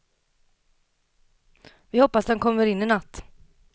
Vi hoppas att den kommer in i natt.